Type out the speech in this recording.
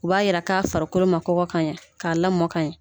U b'a jira k'a farikolo ma kɔgɔ ka ɲɛ k'a lamɔ ka ɲɛ